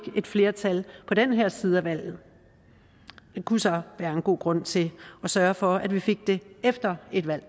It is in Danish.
et flertal på den her side af valget det kunne så være en god grund til at sørge for at vi fik det efter et valg